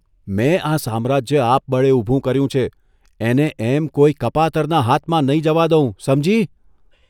મેં આ સામ્રાજ્ય આપબળે ઊભું કર્યું છે એને એમ કોઇ કપાતરના હાથમાં નહીં જવા દઉં, સમજી?